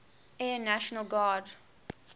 air national guard